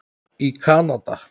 í Kanada.